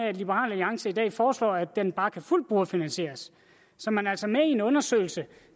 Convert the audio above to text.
at liberal alliance i dag foreslår at den bare kan fuldt brugerfinansieres så man er altså med i en undersøgelse